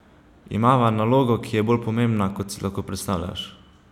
Imava nalogo, ki je bolj pomembna, kot si lahko predstavljaš!